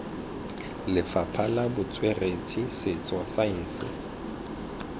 lefapha la botsweretshi setso saense